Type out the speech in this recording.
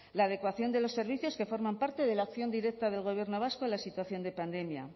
la adecuación de los servicios que forman parte de la acción directa del gobierno vasco en la situación de pandemia